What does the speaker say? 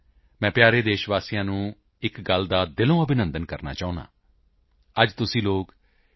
ਮੈਂ ਪਿਆਰੇ ਦੇਸ਼ ਵਾਸੀਆਂ ਨੂੰ ਇੱਕ ਗੱਲ ਦਾ ਦਿਲੋਂ ਅਭਿਨੰਦਨ ਕਰਨਾ ਚਾਹੁੰਦਾ ਹਾਂ ਅੱਜ ਤੁਸੀਂ ਲੋਕ ਟੀ